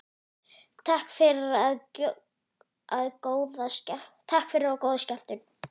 Takk fyrir og góða skemmtun.